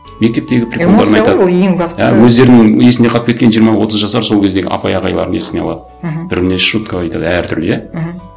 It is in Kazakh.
мектептегі приколдарын ең бастысы өздерінің есінде қалып кеткен жиырма отыз жасар сол кездегі апай ағайларын есіне алады мхм бір біріне шутка айтады әртүрлі иә мхм